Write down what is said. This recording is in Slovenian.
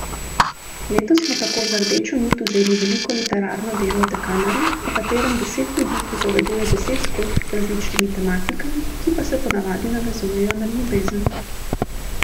Letos smo tako za rdečo nit vzeli veliko literarno delo Dekameron, v katerem deset ljudi pripoveduje deset zgodb z različnimi tematikami, ki pa se ponavadi navezujejo na ljubezen.